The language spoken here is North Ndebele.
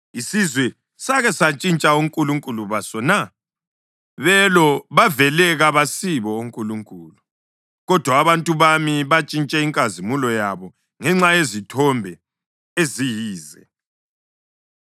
Isizwe sake santshintsha onkulunkulu baso na? (Belo bavele kabasibo onkulunkulu.) Kodwa abantu bami bantshintshe inkazimulo yabo ngenxa yezithombe eziyize.